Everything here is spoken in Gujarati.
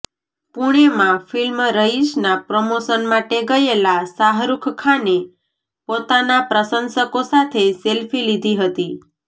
પુણેમાં ફિલ્મ રઇશનાં પ્રમોશન માટે ગયેલા શાહરૂખ ખાને પોતાનાં પ્રશંસકો સાથે સેલ્ફી લીધી હતી